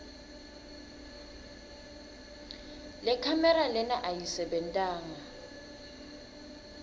lekhamera lena ayisebentanga